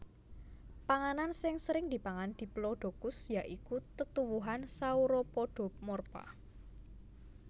Panganan sing sering dipangan Diplodocus ya iku tetuwuhan Sauropodomorpha